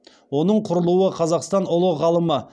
оның құрылуы қазақстан ұлы ғалымы